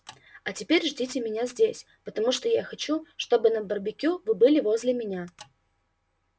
а теперь ждите меня здесь потому что я хочу чтобы на барбекю вы были возле меня